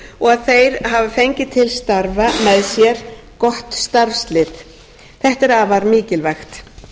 og að þeir hafa fengið til starfa með sér gott starfslið þetta er afar mikilvægt